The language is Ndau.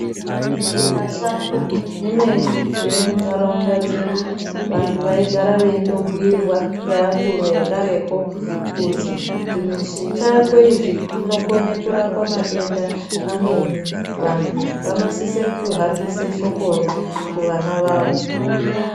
Zvimashango zvimweni zviri munharaunda dzedu vantu vaigara veindobhuirwa ngevakuru vedu vekareko kuti zvimashango izvi zvinokone kurapa matenda amweni. Vantu vanosise kuhambisa shokoro kuvana vavo.